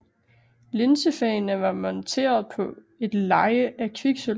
Linsefagene var monteret på et leje af kviksølv